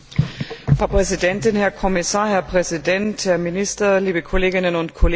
Frau Präsidentin, Herr Kommissar, Herr Präsident, Herr Minister, liebe Kolleginnen und Kollegen!